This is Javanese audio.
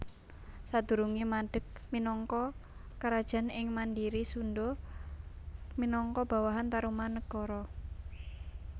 Sadurungé madeg minangka Karajan sing mandhiri Sundha minangka bawahan Tarumanagara